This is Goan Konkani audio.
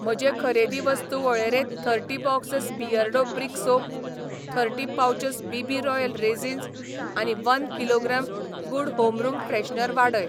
म्हजे खरेदी वस्तू वळेरेंत thirty boxes Beardo brick soap, thirty pouches BB. Royal raisins आनी one kilogram good home room freshener वाडय.